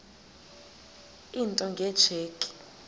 into nge tsheki